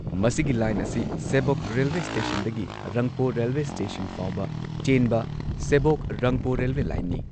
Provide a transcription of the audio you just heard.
ꯃꯁꯤꯒꯤ ꯂꯥꯏꯟ ꯑꯁꯤ ꯁꯦꯕꯣꯛ ꯔꯦꯜꯋꯦ ꯁ꯭ꯇꯦꯁꯟꯗꯒꯤ ꯔꯪꯄꯣ ꯔꯦꯜꯋꯦ ꯁ꯭ꯇꯦꯁꯟ ꯐꯥꯎꯕ ꯆꯦꯟꯕ ꯁꯦꯕꯣꯛ ꯔꯪꯄꯣ ꯔꯦꯜꯋꯦ ꯂꯥꯏꯟꯅꯤ꯫